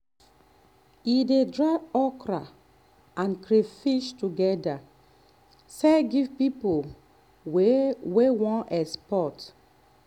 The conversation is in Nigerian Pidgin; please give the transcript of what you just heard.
e dey dry okra and crayfish together sell give people wey wey wan export.